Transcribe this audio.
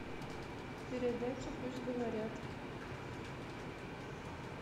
передача пусть говорят